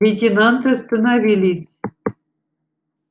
лейтенанты остановились